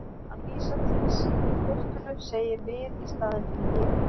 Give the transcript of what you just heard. Hann vísar til sín í fleirtölu, segir við í staðinn fyrir ég.